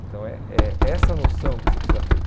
Então é é essa noção que você precisa ter.